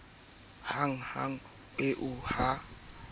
ba thapameng eo ha hanghang